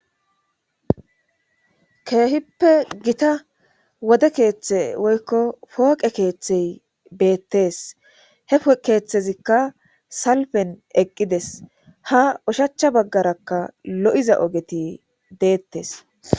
keehippe gita wode keeththe woykko pooqe keeththey beettes hepoqe keeththezikka salpen eqqides ha ushachcha baggarakka lo7iza ogeti deettes